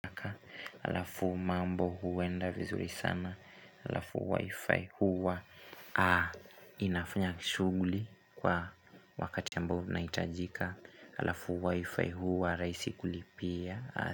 Alafu mambo huenda vizuri sana alafu wi-fi huwa inafanya shughuli kwa wakati ambao unahitajika alafu wi-fi huwa rahisi kulipia.